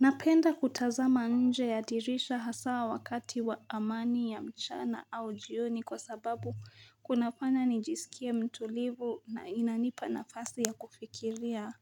Napenda kutazama nje ya dirisha, hasa wakati wa amani ya mchana, au jioni, kwa sababu kunafanya nijisikie mtulivu na inanipa nafasi ya kufikiria.